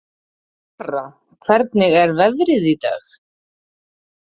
Lara, hvernig er veðrið í dag?